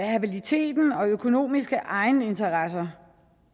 habilitet og økonomiske egeninteresser